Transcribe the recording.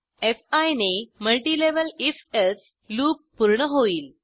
fee ने multilevel if else loop पूर्ण होईल